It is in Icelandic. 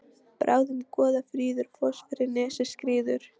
Bráðum Goða fríður foss fyrir nesið skríður.